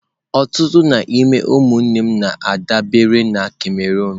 Ọtụtụ n'ime ụmụnne m na-adabere na Cameroon.